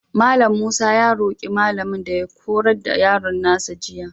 Mallam Musa ya roƙi malamin da ya horar da yaron nasa jiya.